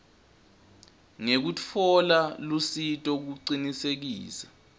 ngekutfola lusito kucinisekisa